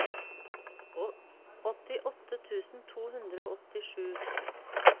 åttiåtte tusen to hundre og åttisju